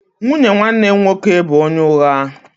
Nwunye nwanne m nwoke bụ onye ụgha